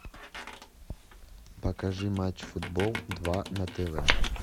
покажи матч футбол два на тв